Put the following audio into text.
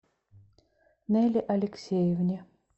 неле алексеевне